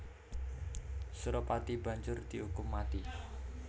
Suropati banjur diukum mati